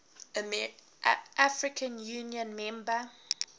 african union member